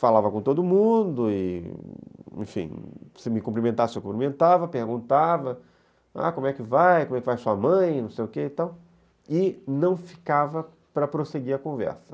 falava com todo mundo e enfim, se me cumprimentasse, eu cumprimentava, perguntava, como é que vai, como é que vai sua mãe, não sei o que e tal, e não ficava para prosseguir a conversa.